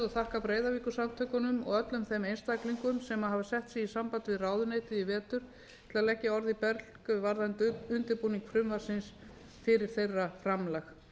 og þakka breiðavíkursamtökunum og öllum þeim einstaklingum sem hafa fót sig í samband við ráðuneytið í vetur til að leggja orð í belg varðandi undirbúning frumvarpsins fyrir þeirra framlag